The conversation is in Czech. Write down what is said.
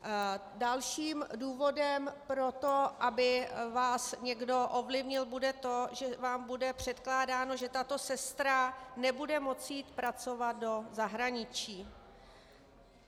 Dalším důvodem pro to, aby vás někdo ovlivnil, bude to, že vám bude předkládáno, že tato sestra nebude moci jít pracovat do zahraničí.